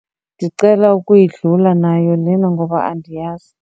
Ndicela ukuyidlula nayo lena ngoba andiyazi.